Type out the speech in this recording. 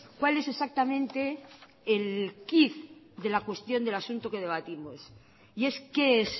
cual es exactamente el quid de la cuestión del asunto que debatimos y es qué es